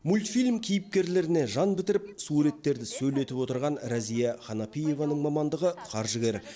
мультфильм кейіпкерлеріне жан бітіріп суреттерді сөйлетіп отырған рәзия ханафиеваның мамандығы қаржыгер